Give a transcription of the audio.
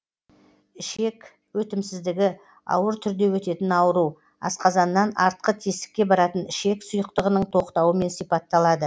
ішек өтімсіздігі ауыр түрде өтетін ауру асқазаннан артқы тесікке баратын ішек сұйықтығының тоқтауымен сипатталады